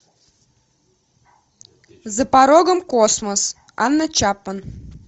за порогом космос анна чапман